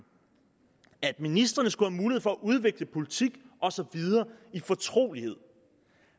at ministrene skulle have mulighed for at udvikle politik og så videre i fortrolighed